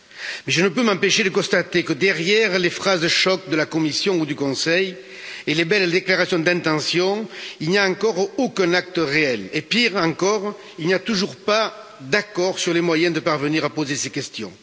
Mais je ne peux m'empêcher de constater que, derrière les phrases choc de la Commission ou du Conseil et les belles déclarations d'intention, il n'y a encore aucun acte réel et, pire encore, il n'y a toujours pas d'accord sur les moyens de parvenir à poser ces questions.